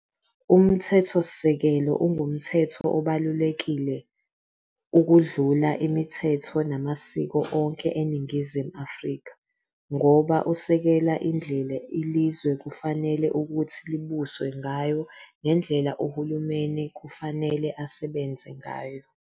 uMthethosisekelo ungumthetho obalulekile ukundlula imithetho namasiko onke eNingizimu Afrika ngoba usekela indlela ilizwe kufanele ukuthi libuswe ngayo nedlela uHulumeni kufanele asebenze ngayo.